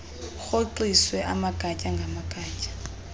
urhoxiswe amagatya ngamagatya